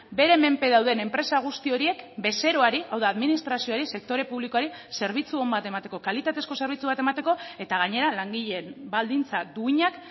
bere menpe dauden enpresa guzti horiek bezeroari hau da administrazioari sektore publikoari zerbitzu on bat emateko kalitatezko zerbitzu bat emateko eta gainera langileen baldintza duinak